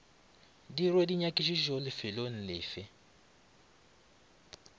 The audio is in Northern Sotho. dirwe dinyakišišo lefelong le fe